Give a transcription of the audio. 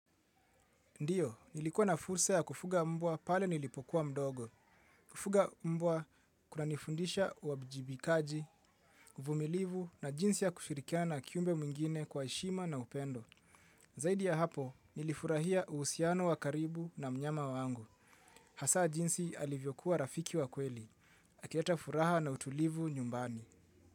Ndiyo, nilikuwa na fursa ya kufuga mbwa pale nilipokuwa mdogo. Kufuga mbwa kuna nifundisha uwajibikaji, uvumilivu na jinsi ya kushirikana kiumbe mwingine kwa heshima na upendo. Zaidi ya hapo, nilifurahia uhusiano wa karibu na mnyama wangu. Hasa jinsi alivyokuwa rafiki wa kweli. Akileta furaha na utulivu nyumbani.